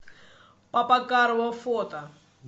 папа карло фото